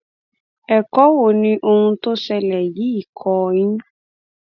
ẹkọ wo ni ohun tó ṣẹlẹ yìí kọ ọ yín